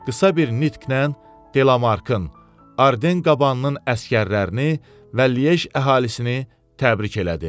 Qısa bir nitqlə Delamarkın, Arden qabanının əsgərlərini və Liej əhalisini təbrik elədi.